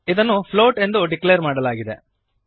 ಇದನ್ನು ಫ್ಲೋಟ್ ಎಂದು ಡಿಕ್ಲೇರ್ ಮಾಡಲಾಗಿದೆ